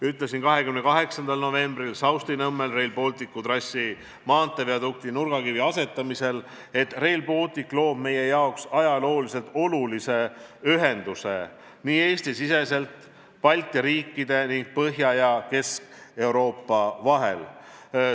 Ütlesin 28. novembril Saustinõmmel Rail Balticu trassi maanteeviadukti nurgakivi asetamisel, et Rail Baltic loob meie jaoks ajalooliselt olulise ühenduse nii Eesti-siseselt kui ka Balti riikide ning Põhja- ja Kesk-Euroopa vahel.